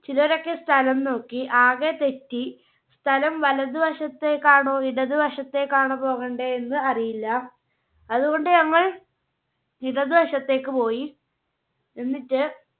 ചിലരൊക്കെ സ്ഥലം നോക്കി ആകെ തെറ്റി സ്ഥലം വലത് വശത്തേക്കാണോ ഇടത് വശത്തേക്കാണോ പോകണ്ടേ എന്ന് അറിയില്ല. അതുകൊണ്ട് ഞങ്ങൾ ഇടത് വശത്തേക്ക് പോയി. എന്നിട്ട്